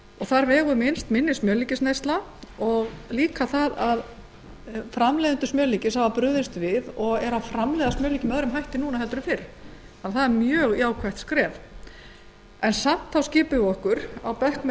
þar vegur mest minni smjörlíkisneysla og jafnframt að framleiðendur smjörlíkis framleiða smjörlíki með öðrum hætti nú en áður það er mjög jákvætt en samt skipum við okkur á bekk með